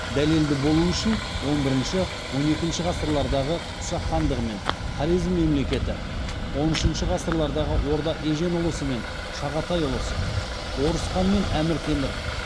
дәлелді болуы үшін он бірінші он екінші ғасырлардағы қыпшақ хандығы мен хорезм мемлекеті он үшінші ғасырдағы орда ежен ұлысы мен шағатай ұлысы орыс хан мен әмір темір